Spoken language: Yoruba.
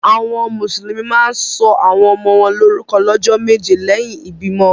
Awọn musulumi ma ǹ sọ awọn ọmọ wọn lorukọ lọjọ meje lẹhin ibimọ.